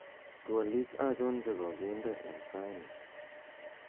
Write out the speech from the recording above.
twolik achon chegoginde en saini